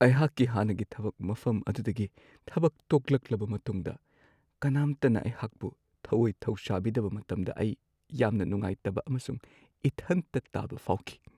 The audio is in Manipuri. ꯑꯩꯍꯥꯛꯀꯤ ꯍꯥꯟꯅꯒꯤ ꯊꯕꯛ ꯃꯐꯝ ꯑꯗꯨꯗꯒꯤ ꯊꯕꯛ ꯇꯣꯛꯂꯛꯂꯕ ꯃꯇꯨꯡꯗ ꯀꯅꯥꯝꯇꯅ ꯑꯩꯍꯥꯛꯄꯨ ꯊꯧꯋꯣꯏ ꯊꯧꯁꯥꯕꯤꯗꯕ ꯃꯇꯝꯗ ꯑꯩ ꯌꯥꯝꯅ ꯅꯨꯡꯉꯥꯏꯇꯕ ꯑꯃꯁꯨꯡ ꯏꯊꯟꯇ ꯇꯥꯕ ꯐꯥꯎꯈꯤ ꯫